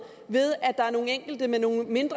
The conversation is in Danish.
ved at der er nogle enkelte med nogle ikke